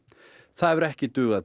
það hefur ekki dugað